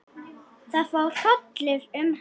Það fór hrollur um hana.